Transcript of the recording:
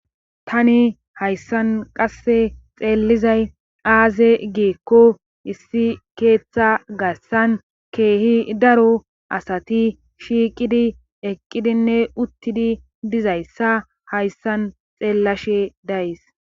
Tani hayssan qasse xeellizay aaze giekko issi keeththa gassan keehi daro asati shiiqidi eqqidinne uttidi dizayssa hayssan xeellashe days.